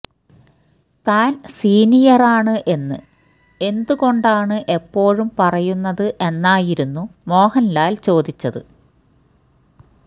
താൻ സീനിയറാണ് എന്ന് എന്തുകൊണ്ടാണ് എപ്പോഴും പറയുന്നത് എന്നായിരുന്നു മോഹൻലാല് ചോദിച്ചത്